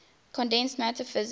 condensed matter physics